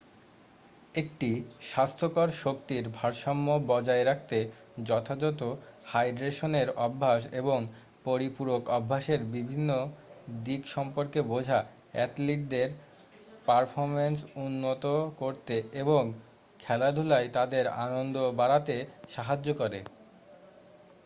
একটি স্বাস্থ্যকর শক্তির ভারসাম্য বজায় রাখতে যথাযথ হাইড্রেশনের অভ্যাস এবং পরিপূরক অভ্যাসের বিভিন্ন দিক সম্পর্কে বোঝা অ্যাথলিটদের পারফরমেন্স উন্নত করতে এবং খেলাধুলায় তাদের আনন্দ বাড়াতে সাহায্য করে